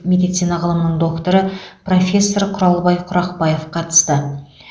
медицина ғылымының докторы профессор құралбай құрақбаев қатысты